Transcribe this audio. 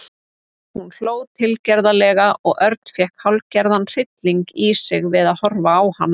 Hún hló tilgerðarlega og Örn fékk hálfgerðan hrylling í sig við að horfa á hana.